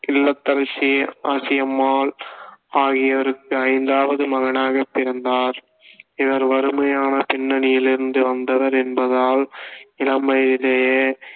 இல்லத்தரசி ஆஷியம்மாள் ஆகியோருக்கு ஐந்தாவது மகனாகப் பிறந்தார் இவர் வறுமையான பின்னணியிலிருந்து வந்தவர் என்பதால் இளம் வயதிலேயே